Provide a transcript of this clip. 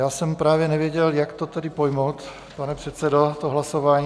Já jsem právě nevěděl, jak to tedy pojmout, pane předsedo, to hlasování.